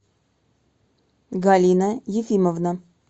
галина ефимовна